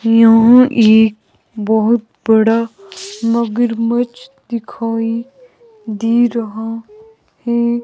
यहां एक बहोत बड़ा मगरमच्छ दिखाई दे रहा है।